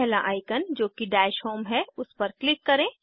पहला आइकन जोकि dash home है उस पर क्लिक करें